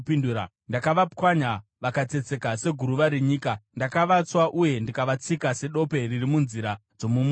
Ndakavapwanya vakatsetseka seguruva renyika; ndakavatswa uye ndikavatsika sedope riri munzira dzomumusha.